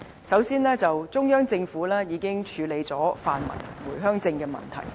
首先，中央政府已處理了泛民回鄉證的問題。